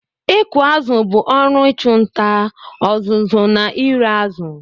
Ịkụ azụ̀ bụ ọrụ ịchụ nta, ọzụzụ na ire azụ̀.